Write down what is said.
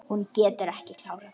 Hún getur ekki klárað.